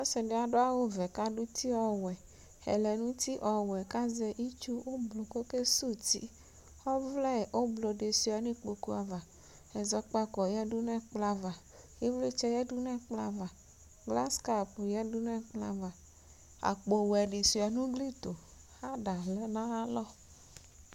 Ɔsɩ dɩ adʋ awʋvɛ kʋ adʋ uti ɔwɛ, ɛlɛnʋti ɔwɛ kʋ azɛ itsu oblʋ kʋ ɔkesuwu uti Ɔvlɛ oblʋ dɩ sʋɩa nʋ ikpoku ava Ɛzɔkpako yǝdu nʋ ɛkplɔ ava Ɩvlɩtsɛ yǝdu nʋ ɛkplɔ ava Glaskap yǝdu nʋ ɛkplɔ ava Akpowɛ dɩ sʋɩa nʋ ugli tʋ Ada lɛ nʋ ayalɔ